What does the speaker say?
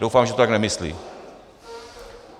Doufám, že to tak nemyslí.